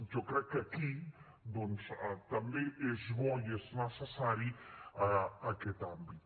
jo crec que aquí doncs també és bo i és necessari aquest àmbit